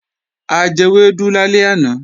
A jewẹ́dú lálẹ́ àná